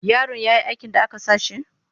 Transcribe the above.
Yarin ya yi aikin da aka sa shi?